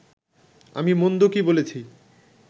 আমি মন্দ কি বলেছি